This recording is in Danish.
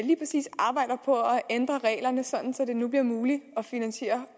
ændre reglerne så det nu bliver muligt at finansiere